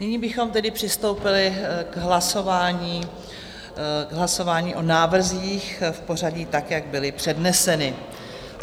Nyní bychom tedy přistoupili k hlasování o návrzích v pořadí tak, jak byly předneseny.